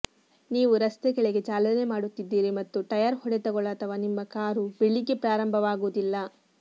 ನೀವು ರಸ್ತೆ ಕೆಳಗೆ ಚಾಲನೆ ಮಾಡುತ್ತಿದ್ದೀರಿ ಮತ್ತು ಟೈರ್ ಹೊಡೆತಗಳು ಅಥವಾ ನಿಮ್ಮ ಕಾರು ಬೆಳಿಗ್ಗೆ ಪ್ರಾರಂಭವಾಗುವುದಿಲ್ಲ